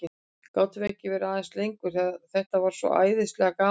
Gátum við ekki verið aðeins lengur, þetta var svo æðislega gaman?